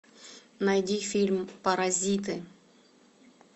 найди фильм паразиты